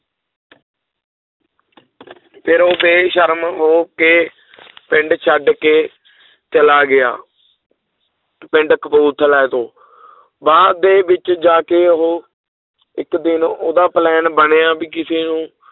ਫਿਰ ਉਹ ਬੇਸ਼ਰਮ ਹੋ ਕੇ ਪਿੰਡ ਛੱਡ ਕੇ ਚਲਾ ਗਿਆ ਪਿੰਡ ਕਪੂਰਥਲਾ ਤੋਂ ਬਾਅਦ ਦੇ ਵਿੱਚ ਜਾ ਕੇ ਉਹ ਇੱਕ ਦਿਨ ਉਹਦਾ plan ਬਣਿਆ ਵੀ ਕਿਸੇ ਨੂੰ